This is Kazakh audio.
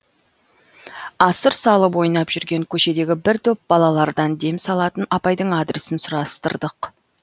асыр салып ойнап жүрген көшедегі бір топ балалардан дем салатын апайдың адресін сұрастырдық